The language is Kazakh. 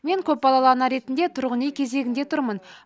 мен көпбалалы ана ретінде тұрғын үй кезегінде тұрмын